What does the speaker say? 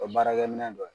O baarakɛ minɛ dɔ ye